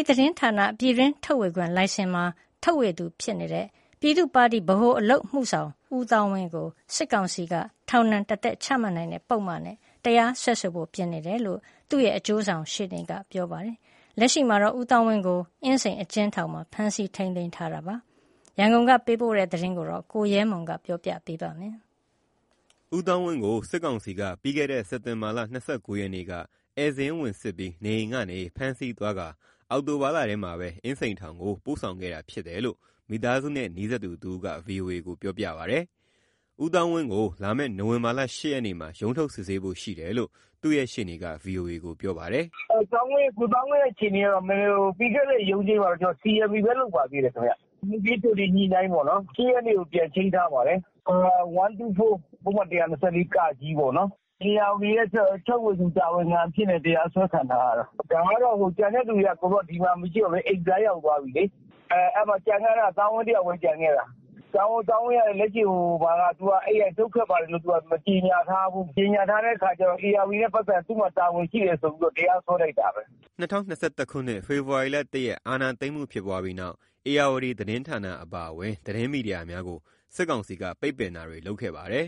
ီသတင်းဌာန ပြည်တွင်း ထုတ်ဝေခွင့်လိုင်စင်မှာ ထုတ်ဝေသူဖြစ်တဲ့ ပြည်သူ့ပါတီ ဗဟိုအလုပ်အမှုဆောင် ဦးသောင်းဝင်းကို စစ်ကောင်စီက ထောင်ဒဏ် တသက်ချမှတ်နိုင်တဲ့ ပုဒ်မနဲ့ တရားစွဲဆိုဖို့ ပြင်ဆင်နေတယ်လို့ သူ့ရဲ့ အကျိုးဆောင်ရှေ့နေကပြောပါတယ်။ လက်ရှိမှာတော့ ဦးသောင်းဝင်းကို အင်းစိန် အကျဉ်းထောင်မှာ ဖမ်းဆီးထိန်းသိမ်း ထားတယ်လို့ ဆိုပါတယ်။ ရန်ကုန်က ပေးပို့တဲ့ သတင်းကို ကိုရဲမွန် ပြောပြပေးမှာပါ။ ဦးသောင်းဝင်းကို စစ်ကောင်စီက ပြီးခဲ့တဲ့ စက်တင်ဘာ ၂၉ ရက် နေ့က ဧည့်စာရင်းဝင်စစ်ပြီး နေအိမ်ကနေ ဖမ်းဆီးသွားကာ အောက်တိုဘာလထဲမှာပဲ အင်းစိန်ထောင်ကို ပို့ဆောင်ခဲ့တယ်လို့ မိသားစုနဲ့ နီးစပ်သူတဦးက ဗွီအိုအေကိုပြောပြပါတယ်။ ဦးသောင်းဝင်းကို လာမယ့် နိုဝင်ဘာ ၈ ရက်နေ့ ရုံးထုတ်စစ်ဆေးဖို့ ရှိတယ်လို့ သူ့ရှေ့နေက ဗွီအိုအေကိုပြောပါတယ်။ "ကိုသောင်းဝင်း အခြေအနေက ပြီးခဲ့တဲ့အပတ်က အမှု စီအမ်ပီဘဲ လုပ်တာ၊ မူခင်းကြိုတင်ညှိုတာပေါ့ ၊ ၈ ရက်နေ့ ပြန်ချိန်းထားပါတယ်။ ၁၂၄ ပုဒ်မ ၁၂၄(က)နဲ့ ဧရာဝတီရဲ့ထုတ်ဝေခွင့် တာဝန်ခံ အနေနဲ့ တရားစွဲခံထားရတယ်။ ဒါကတော့ ကျန်သူတွေက ဒီမှာမရှိတော့ဘူးလေ။ သူတယောက်ပဲ ကျန်ခဲ့တာ သောင်းဝင်း ပဲ ကျန်တာ။ သူကလည်း နုတ်ထွက်ပါတယ် မကြေညာထားဘူး။ မကြေညာထားတော့ ဧရာဝတီနဲ့ ပတ်သတ်ရင် သူ့မှာတာဝန်ရှိတယ်ဆိုပြီး တရားစွဲတာပဲ" ၂၀၂၁ ခုနှစ် ဖေဖော်ဝါရီလ ၁ ရက် အာဏာသိမ်းမှု ဖြစ်ပွားပြီးနောက် ဧရာဝတီသတင်းဌာန အပါအဝင် သတင်းမီဒီယာတွေကို စစ်ကောင်စီက ပိတ်ပင်တာတွေ လုပ်ခဲ့ပါတယ်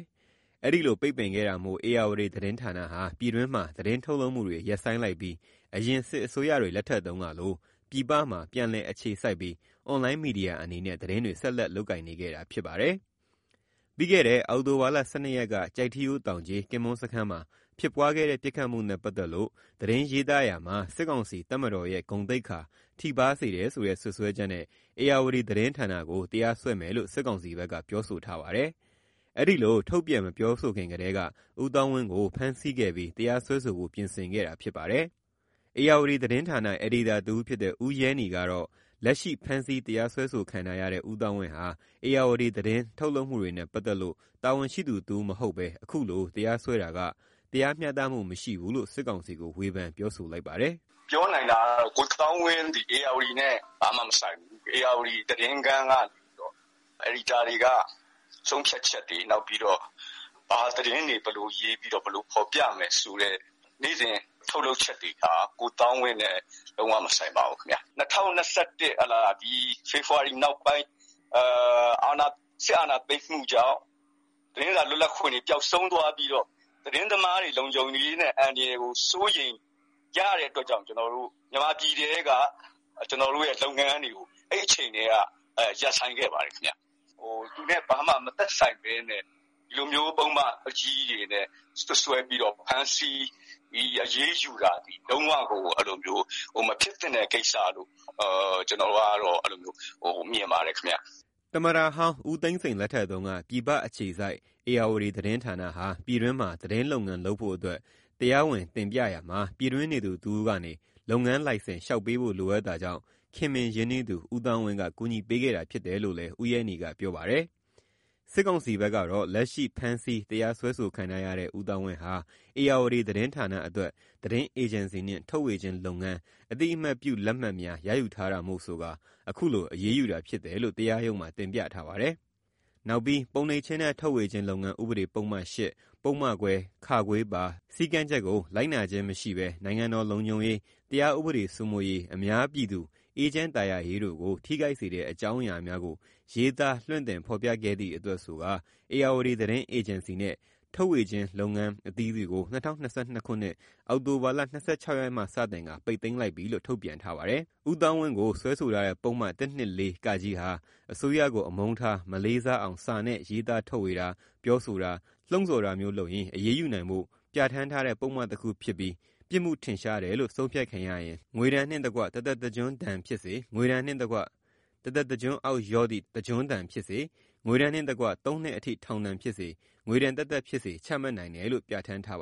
။ ဒီလိုပိတ်ပင်ခဲ့တာမို့ ဧရာဝတီသတင်းဌာနဟာ ပြည်တွင်းမှာ သတင်းထုတ်လုပ်မှုတွေ ရပ်ဆိုင်းလိုက်ပြီး အရင် စစ်အစိုးရတွေ လက်ထက်ကလို ပြည်ပမှာ ပြန်လည်အခြေစိုက်ပြီး အွန်လိုင်းမီဒီယာအနေနဲ့ သတင်းတွေ ဆက်လက် လုပ်ကိုင်နေခဲ့တာ ဖြစ်ပါတယ်။ ပြီးခဲ့တဲ့ အောက်တိုဘာလ ၁၂ ရက်က ကျိုက်ထီးရိုးတောင်ခြေ ကင်မွန်းစခန်းမှာ ဖြစ်ပွားခဲ့တဲ့ ပစ်ခတ်မှုနဲ့ ပတ်သတ်လို့ သတင်းရေးသားတာမှာ စစ်ကောင်စီ ရဲ့ ဂုဏ်သိက္ခာ ထိပါးစေတယ်ဆိုတဲ့ စွပ်စွဲချက်နဲ့ ဧရာဝတီသတင်းဌာနကို တရားစွဲမယ်လို့ စစ်ကောင်စီဘက်က ပြောဆိုထားပါတယ်။ အဲဒီလိုထုတ်ပြန် မပြောဆိုခင်ထဲက ဦးသောင်းဝင်း ကို ဖမ်းဆီးခဲ့ပြီး တရားစွဲဆိုဖို့ ပြင်ဆင်ခဲ့တာ ဖြစ်ပါတယ်။ ဧရာဝတီသတင်း အယ်ဒီတာ တဦးဖြစ်တဲ့ ဦးရဲနည် ကတော့ လက်ရှိ ဖမ်းဆီးတရားစွဲဆိုခံထားရတဲ့ ဦးသောင်းဝင်းဟာ ဧရာဝတီသတင်း ထုတ်လုပ်မှုတွေနဲ့ ပတ်သတ်လို့ တာဝန်ရှိသူတဦးမဟုတ်ဘဲ အခုလို တရားစွဲဆိုတာက တရားမျှတမှု မရှိဘူးလို့ စစ်ကောင်စီကို ဝေဖန်ပြောဆိုလိုက်ပါတယ်။ "၂၀၂၁ အာဏာသိမ်းပြီးနောက် သတင်းတန်ဖိုးမရှိဘဲ သတင်းသမား လုံခြုံရေး ပျောက်ဆုံးသွားကတည်းက ကျနော်တို့ ပြည်တွင်းမှာ လုံးဝမလုပ်တော့ဘဲ အဲဒီအချိန်ကတည်းက ရပ်ဆိုင်းခဲ့ပါတယ်။ ဒီလိုဘာမှမဆိုင်တဲ့လူကို ဒီလိုကြီးလေးတဲ့ ပုဒ်မနဲ့တရားစွဲဆိုတာက မဖြစ်သင့်တဲ့ကိစ္စပါ။" သမ္မတဟောင်း ဦးသိန်းစိန် လက်ထက်က ပြည်ပအခြေစိုက် ဧရာဝတီသတင်းဌာနဟာ ပြည်တွင်းမှာ သတင်းလုပ်ငန်းလုပ်ဖို့အတွက် တရားဝင် တင်ပြတာမှာ ပြည်တွင်းနေသူတဦးကနေ လုပ်ငန်းလိုင်စင် လျှောက်ပေးဖို့ လိုအပ်တာကြောင့် ခင်မင်ရင်းနှီးသူ ဦးသောင်းဝင်း က ကူညီပေးခဲ့တာ ဖြစ်တယ်လို့လည်း ဦးရဲနည်က ပြောပါတယ်။ စစ်ကောင်စီဘက်ကတော့ လက်ရှိဖမ်းဆီး တရားစွဲဆိုခံထားရတဲ့ ဦးသောင်းဝင်းဟာ "ဧရာဝတီသတင်းဌာန"အတွက် သတင်းအေဂျင်စီနှင့် ထုတ်ဝေခြင်းလုပ်ငန်း အသိအမှတ်ပြု လက်မှတ်များ ရယူထားတာမို့ ဆိုကာ အခုလို အရေးယူတာဖြစ်တယ်လို့ တရားရုံးမှာ တင်ပြထားပါတယ်။ နောက်ပြီး ပုံနှိပ်ခြင်းနဲ့ ထုတ်ဝေခြင်းလုပ်ငန်း ဥပဒေပုဒ်မ ၈၊ ပုဒ်မခွဲ (ခ)ပါ စည်းကမ်းချက်ကို လိုက်နာခြင်းမရှိဘဲ နိုင်ငံတော်လုံခြုံရေး၊ တရားဥပဒေစိုးမိုးရေး၊ အများပြည်သူ အေးချမ်းသာယာရေးတို့ကို ထိခိုက်စေတဲ့ အကြောင်းအရာများကို ရေးသားလွှင့်တင်ဖော်ပြခဲ့သည့်အတွက် ဆိုကာ "ဧရာဝတီ"သတင်း အေဂျင်စီ နဲ့ ထုတ်ဝေခြင်းလုပ်ငန်းအသီးသီးကို ၂၀၂၂ ခုနှစ်၊ အောက်တိုဘာလ ၂၆ ရက်မှစတင်ကာ ပိတ်သိမ်းလိုက်တယ်လို့ထုတ်ပြန်ထားပါတယ်။ ဦးသောင်းဝင်းကို စွဲဆိုထားတဲ့ပုဒ်မ ၁၂၄(က) ဟာ အစိုးရကို အမုန်းထား၊ မလေးစားအောင် စာနဲ့ ရေးသားထုတ်ဝေတာ ပြောဆိုတာ၊ လှုံဆော်တာမျိုးလုပ်ရင် အရေးယူနိုင်ဖို့ ပြဌာန်းထားတဲ့ပုဒ်မတခု ဖြစ်ပြီး ပြစ်မှုထင်ရှားတယ်လို့ ဆုံးဖြတ်ခံရရင် ငွေဒဏ်နှင့်တကွ တစ်သက်တစ်ကျွန်းဒဏ်ဖြစ်စေ၊ ငွေဒဏ်နှင့်တကွ တစ်သက်တစ်ကျွန်းအောက်လျော့သည့် တစ်ကျွန်းဒဏ်ဖြစ်စေ၊ ငွေဒဏ်နှင့်တကွ သုံးနှစ်အထိ ထောင်ဒဏ်ဖြစ်စေ၊ ငွေဒဏ်သက်သက်ဖြစ်စေ ချမှတ်နိုင်တယ်လို့ပြဌာန်းထားပါ